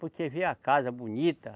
Porque vê a casa bonita.